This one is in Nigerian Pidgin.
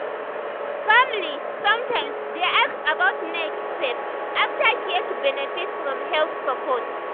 family sometimes dey ask about next step after care to benefit from health support.